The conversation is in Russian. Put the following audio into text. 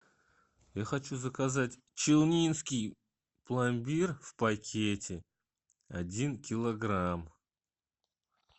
я хочу заказать челнинский пломбир в пакете один килограмм